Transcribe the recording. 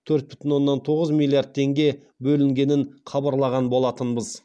төрт бүтін оннан тоғыз миллиард теңге бөлінгенін хабарлаған болатынбыз